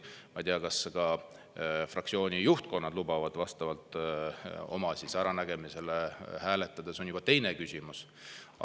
Ma ei tea, kas fraktsioonide juhtkonnad lubavad vastavalt oma äranägemisele hääletada – see on juba teine küsimus.